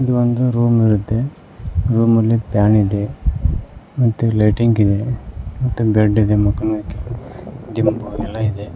ಇದು ಒಂದು ರೂಮ್ ಇರುತ್ತೆ ರೂಮಲ್ಲಿ ಫ್ಯಾನ್ ಇದೆ ಮತ್ತು ಲೈಟಿಂಗ್ ಇದೆ ಮತ್ತು ಬೆಡ್ ಇದೆ ಮಕ್ಕೋಣಕ್ಕೆ ದಿಂಬು ಎಲ್ಲಾ ಇದೆ.